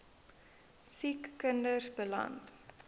siek kinders beland